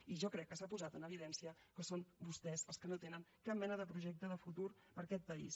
i jo crec que s’ha posat en evidència que són vostès els que no tenen cap mena de projecte de futur per a aquest país